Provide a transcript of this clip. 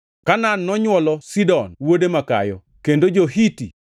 Kanaan nonywolo Sidon wuode makayo, kendo jo-Hiti,